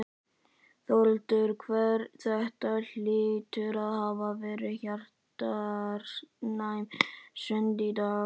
Þórhildur, þetta hlýtur að hafa verið hjartnæm stund í dag?